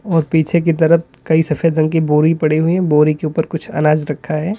और पीछे की तरफ कई सफेद रंग की बोरी पड़ी हुई बोरी के ऊपर कुछ अनाज रखा है।